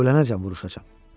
Ölənəcən vuruşacam.